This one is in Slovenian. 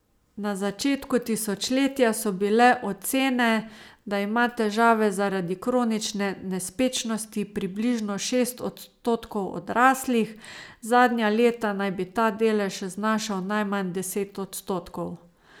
Na začetku tisočletja so bile ocene, da ima težave zaradi kronične nespečnosti približno šest odstotkov odraslih, zadnja leta naj bi ta delež znašal najmanj deset odstotkov.